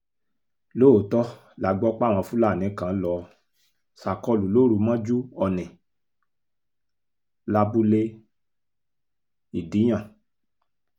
lóòótọ́ la gbọ́ páwọn fúlàní kan lọ́ọ́ ṣàkólú lóru mọ́jú ọ̀nì lábúlé ìdíyàn